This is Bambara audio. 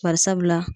Bari sabula